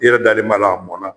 I yɛrɛ dalen b'a la a mɔnan.